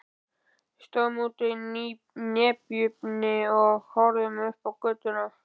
Við stóðum úti í nepjunni og horfðum upp á götuna.